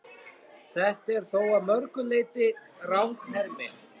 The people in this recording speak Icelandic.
Þetta er þó að mörgu leyti ranghermi.